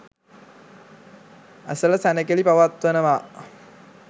ඇසළ සැණකෙළි පවත්වනවා.